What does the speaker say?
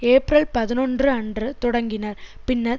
April பதினொன்று அன்று தொடங்கினர் பின்னர்